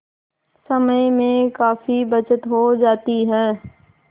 समय में काफी बचत हो जाती है